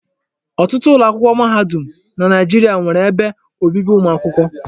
Ọtụtụ ụlọakwụkwọ mahadum na Naijiria nwere ebe obibi ụmụ akwụkwọ.